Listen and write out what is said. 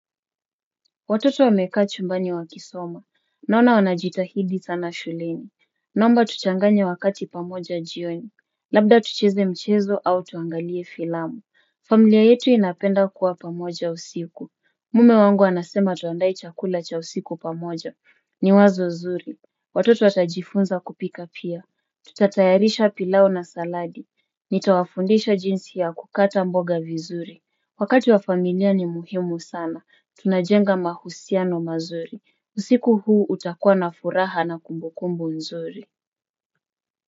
Watoto wamekaa chumbani wakisoma. Naona wanajitahidi sana shuleni. Naomba tuchanganye wakati pamoja jioni. Labda tucheze mchezo au tuangalie filamu. Familia yetu inapenda kuwa pamoja usiku. Mume wangu anasema tuandae chakula cha usiku pamoja. Ni wazo zuri. Watoto watajifunza kupika pia. Tutatayarisha pilau na saladi. Nitawafundisha jinsi ya kukata mboga vizuri. Wakati wa familia ni muhimu sana. Tunajenga mahusiano mazuri. Usiku huu utakua na furaha na kumbukumbu nzuri.